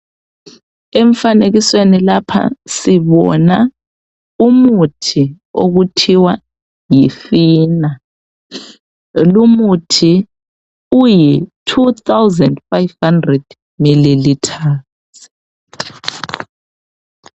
Emfanekisweni lapha sibona umuthi okuthiwa yi Fena .Lumuthi uyi 2500 millimeters.